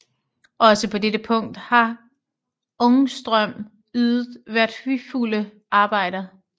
Også på dette punkt har Ångström ydet værdifulde arbejder